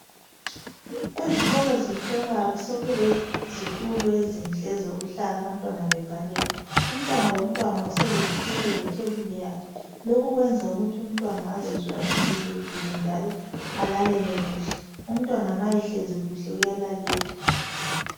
Ezikolo zephilamali sekulezitulo ezinhle ezokuhlala abantwana babhalele. Umntwana lomntwana uselesitulo lethebuli yakhe. Lokhu kuyenza ukuthi umntwana azizwe akhululekile njalo alalele kuhle. Umntwana ma ehlezi kuhle uyalalela.